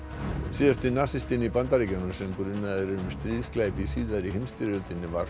síðasti nasistinn í Bandaríkjunum sem grunaður er um stríðsglæpi í síðari heimsstyrjöldinni var